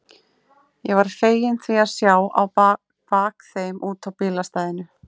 Ég var feginn því að sjá á bak þeim út á bílastæðið.